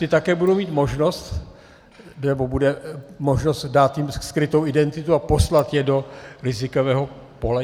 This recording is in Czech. Ty také budou mít možnost, nebo bude možnost dát jim skrytou identitu a poslat je do rizikového pole?